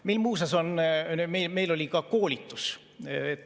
Meil muuseas oli ka koolitus.